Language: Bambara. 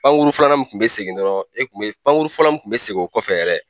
Pankuru filanan min kun bɛ segin e kun be pankuru fɔlɔ kun bɛ segin o kɔfɛ yɛrɛ